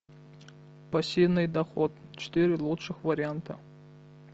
пассивный доход четыре лучших варианта